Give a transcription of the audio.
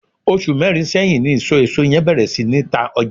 osu merin seyin ni iso eso yen beer si ni ta oja